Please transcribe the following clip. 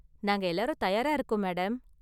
நாங்கள் எல்லாரும் தயாரா இருக்கோம், மேடம்.